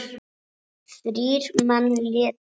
Þrír menn létust.